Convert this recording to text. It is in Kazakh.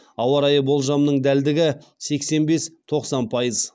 ауа райы болжамының дәлдігі сексен бес тоқсан пайыз